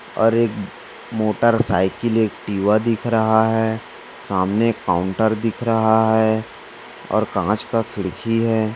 और एक motor cycle Activa दिख रहा है। सामने काउंटर दिख रहा है और कांच का खिड़की है।